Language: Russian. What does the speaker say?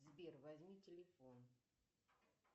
сбер возьми телефон